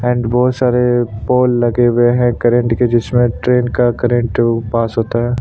And बहुत सारे pole लगे हुए है करंट के जिसमे ट्रैन का करंट पास होता हैं।